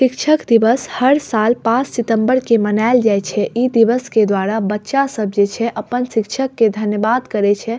शिक्षक दिवस हर साल पांच सितम्बर के मनाएल जाय छै इ दिवस के द्वारा बच्चा सब जे छै अपन शिक्षक के धन्यवाद करे छै।